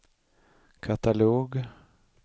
katalog